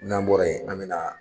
N'an bɔra yen an bɛ na